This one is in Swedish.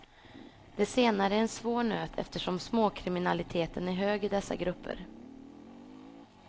Det senare är en svår nöt eftersom småkriminaliteten är hög i dessa grupper.